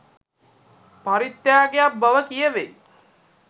පරිත්‍යාගයක් බව කියැවෙයි.